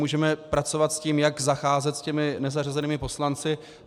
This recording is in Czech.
Můžeme pracovat s tím, jak zacházet s těmi nezařazenými poslanci.